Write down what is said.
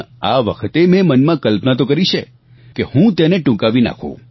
આ વખતે મેં મનમાં કલ્પના તો કરી છે કે હું તેને ટૂંકાવી નાખું